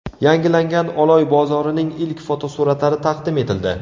Yangilangan Oloy bozorining ilk fotosuratlari taqdim etildi.